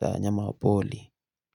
za wanyama wa pori.